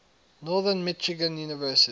northern michigan university